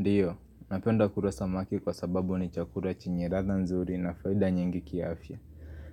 Ndiyo, napenda kura samaki kwa sababu ni chakura chenye ratha nzuri na faida nyingi kiafya